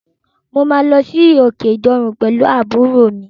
Mo máa lọ sí okè Ìdànre pẹ̀lú àbúrò mi.